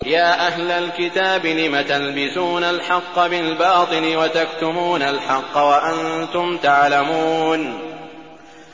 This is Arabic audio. يَا أَهْلَ الْكِتَابِ لِمَ تَلْبِسُونَ الْحَقَّ بِالْبَاطِلِ وَتَكْتُمُونَ الْحَقَّ وَأَنتُمْ تَعْلَمُونَ